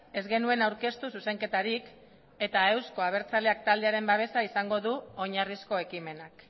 ez genuen aurkeztu zuzenketarik eta euzko abertzaleak taldearen babesa izango du oinarrizko ekimenak